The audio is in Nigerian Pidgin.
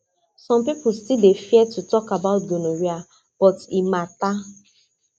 some people still dey fear to talk about gonorrhea but e matter